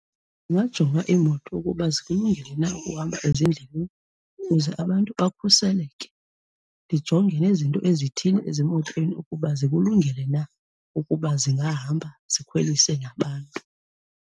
Ndingajonga iimoto ukuba zikulungele na ukuhamba ezindleleni ukuze abantu bakhuseleke. Ndijonge nezinto ezithile ezimotweni, ukuba zikulungele na ukuba zingahamba zikhwelise nabantu.